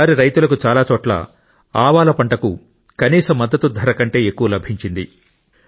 ఈ సారి రైతులకు చాలా చోట్ల ఆవాల పంటకు కనీస మద్దతు ధర కంటే ఎక్కువ లభించింది